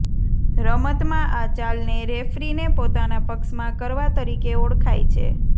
રમતમાં આ ચાલને રેફરીને પોતાના પક્ષમાં કરવા તરીકે ઓળખાય છે